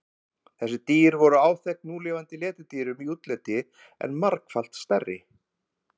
Þessi dýr voru áþekk núlifandi letidýrum í útliti en margfalt stærri.